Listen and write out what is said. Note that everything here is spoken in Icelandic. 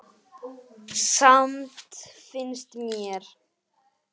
Samt finnst mér.